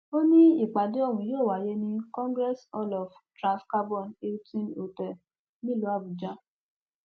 ó ní ìpàdé ọhún yóò wáyé ní congress hall of transcarbon hilton hotel nílùú àbújá